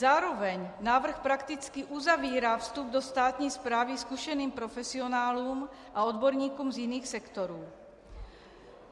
Zároveň návrh prakticky uzavírá vstup do státní správy zkušeným profesionálům a odborníkům z jiných sektorů.